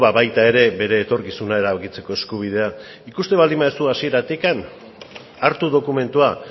ba baita ere bere etorkizuna erabakitzeko eskubidea ikusten baldin baduzu hasieratik hartu dokumentua